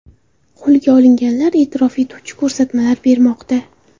Qo‘lga olinganlar e’tirof etuvchi ko‘rsatmalar bermoqda.